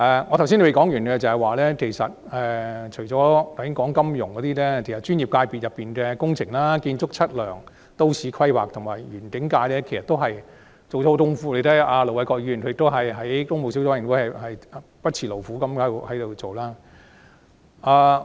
我剛才尚未說完，除了金融界外，專業界別中的工程界及建築、測量、都市規劃及園境界其實也下了很多工夫，而大家也看到盧偉國議員在工務小組委員會不辭勞苦。